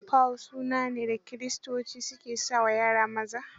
Paul suna ne da kiristoci ke sa wa yara maza.